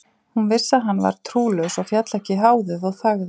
Hún vissi að hann var trúlaus og féll ekki háðið og þagði.